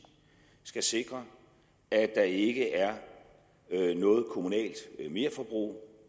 skal sikre at der ikke er noget kommunalt merforbrug